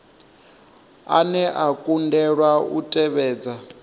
ane a kundelwa u tevhedza